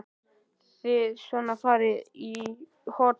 Þið svona farið inn í hollum?